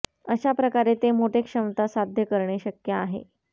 अशा प्रकारे ते मोठे क्षमता साध्य करणे शक्य आहे